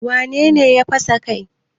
Wane ne ya fasa kai?